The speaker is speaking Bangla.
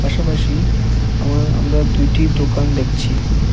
পাশাপাশি আম আমরা দুইটি দোকান দেখছি।